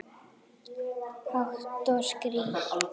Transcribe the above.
Hátt og skýrt.